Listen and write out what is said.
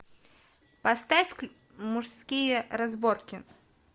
поставь мужские разборки